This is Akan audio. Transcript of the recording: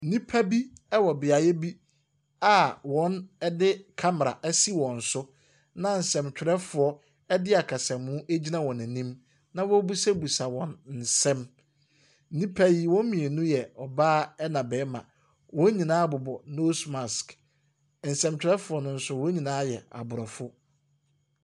Nnipa bi wɔ beaeɛ bi a wɔde camera asi wɔn so, na nsɛntwerɛfoɔ de akasamu gyina wɔn anim na wɔrebisabisa wɔn nsɛm. nnipa yi, wɔn mu mmienu yɛ ɔbaa na barima, wɔn nyinaa bobɔ nose mask. Nsɛntwerɛfoɔ no nso, wɔn nyinara yɛ aborɔfo.